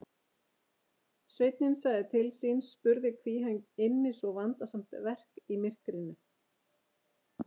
Sveinninn sagði til sín og spurði hví hann ynni svo vandasamt verk í myrkri.